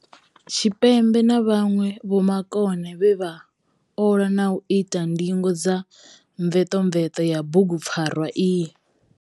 Tshipembe na vhanwe vhomakone vhe vha ola na u ita ndingo dza mvetomveto ya bugupfarwa iyi.